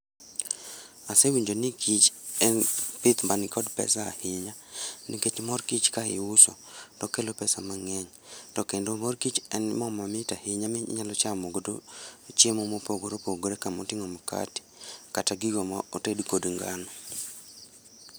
Asewinjo ni kich en pith manikod pesa ahinya nikech mor kich ka iuso tokelo pesa mangeny tokendo mor kich en moo mamit ahinya minyalo chamo godo chiemo mopogore opogore kamotingo mikati kata gigo moted kod ngano